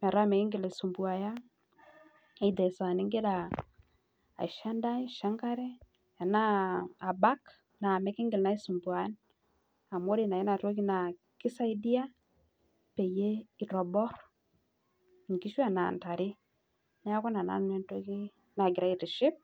metaa mikingira aisumbua aisho enkare metaa mikingil aisumbua amu ore enatoki na kisaidia peitobir nkishu ashu ntare neaku ina na nanu entoki nagira aitiship.